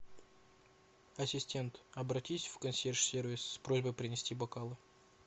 ассистент обратись в консьерж сервис с просьбой принести бокалы